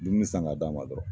Dumuni san ka d'a ma dɔrɔn.